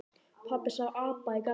Pabbi sá apa í garðinum.